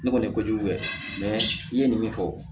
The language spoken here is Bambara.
Ne kɔni kojugu bɛɛ i ye nin min fɔ